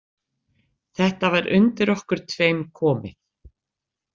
Þetta var undir okkur tveim komið.